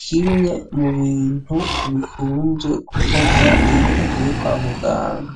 kimwe mubintu bikunze gukogwa iyo ugiye kwa muganga.